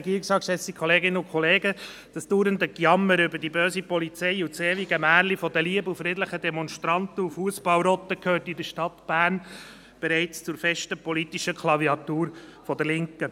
Das dauernde Gejammer über die böse Polizei und das ewige Märchen der lieben und friedlichen Demonstranten und Fussball-Rotten gehört in der Stadt Bern bereits zur festen politischen Klaviatur der Linken.